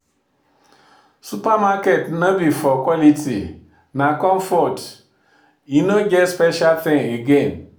supermarket no be for quality, na comfort; e no get special thing again.